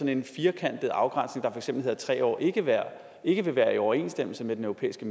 en firkantet afgrænsning der for eksempel hedder tre år ikke være ikke være i overensstemmelse med den europæiske